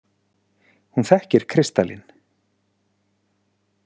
Hún þekkir kristalinn.